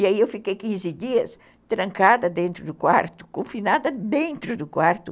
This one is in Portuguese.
E aí eu fiquei quinze dias trancada dentro do quarto, confinada dentro do quarto.